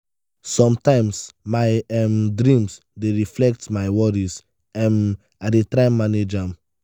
sometimes my um dreams dey reflect my worries; um i dey try manage am.